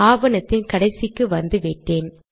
ஆவணத்தின் கடைசிக்கு வந்துவிட்டேன்